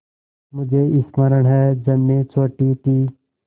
मुझे स्मरण है जब मैं छोटी थी